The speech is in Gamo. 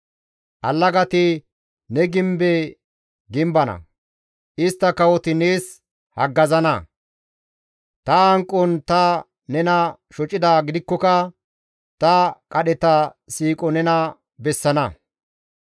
«Allagati ne gimbe gimbana; istta kawoti nees haggazana; ta hanqon ta nena shocidaa gidikkoka, ta qadheta siiqo nena bessana.